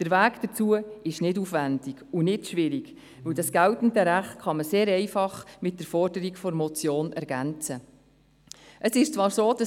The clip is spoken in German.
Der Weg dazu ist nicht aufwendig oder schwierig, da das geltende Recht sehr einfach um die Forderung der Motion ergänzt werden kann.